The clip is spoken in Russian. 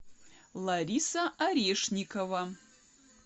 лариса орешникова